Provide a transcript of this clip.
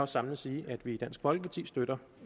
samlet sige at vi i dansk folkeparti støtter